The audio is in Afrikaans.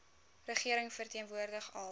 regering verteenwoordig al